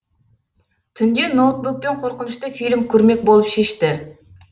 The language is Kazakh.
түнде ноутбукпен қорқынышты фильм көрмек болып шешті